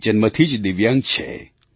તે જન્મથી જ દિવ્યાંગ છે